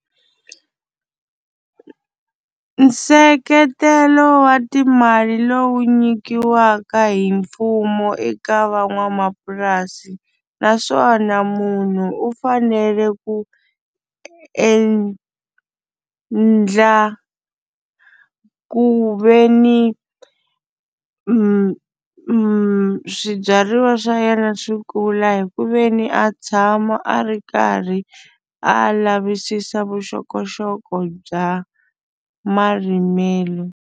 Nseketelo wa timali lowu nyikiwaka hi mfumo eka van'wamapurasi naswona munhu u fanele ku endlela ku ve ni swibyariwa swa yena swi kula hi ku veni a tshama a ri karhi a lavisisa vuxokoxoko bya marimelo.